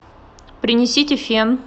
принесите фен